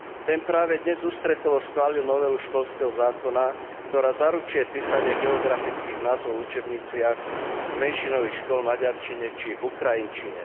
Ten práve dnes ústretovo schválil novelu školského zákona, ktorá zaručuje písanie geografických názvov v učebniciach menšinových škôl v maďarčine či ukrajinčine.